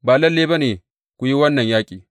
Ba lalle ba ne ku yi wannan yaƙi.